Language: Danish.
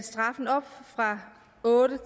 åbnet